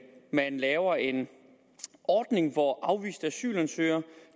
man laver en ordning hvor afviste asylansøgere